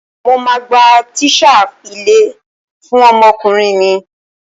Mo máa gba tíṣà ilé fún ọmọkùnrin mi.